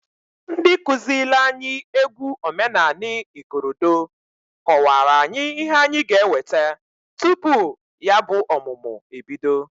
Ndi kụzịlị anyị egwu omenanị ikorodo kọwara anyị ihe anyị ga-eweta tupu ya bụ ọmụmụ ebido.